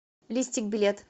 листик билет